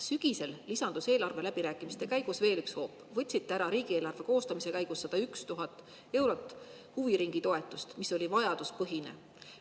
Sügisel lisandus eelarve läbirääkimiste käigus veel üks hoop: võtsite riigieelarve koostamise käigus ära 101 000 eurot huviringitoetust, mis oli vajaduspõhine.